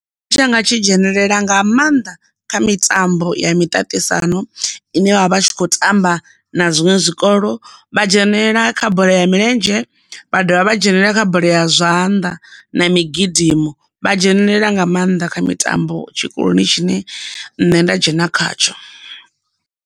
Tshanga tshi dzhenelela nga maanḓa kha mitambo ya miṱaṱisano ine vha vha tshi khou tamba na zwiṅwe zwikolo vha dzhenelela kha bola ya milenzhe, vha dovha vha dzhenelele kha bola ya zwanḓa na migidimo, vha dzhenelela nga maanḓa kha mitambo tshikoloni tshine nṋe nda dzhena khatsho.